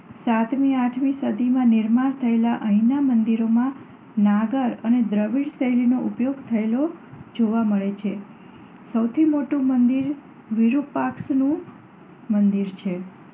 સાતમી અને આઠમી સદીમાં નિર્માણ થયેલાં અહીંનાં મંદિરોમાં નાગર અને દ્રવિડ શૈલીનો ઉપયોગ થયેલો જોવા મળે છે. સૌથી મોટું મંદિર વિરુપાક્ષ શિવનું મંદિર છે.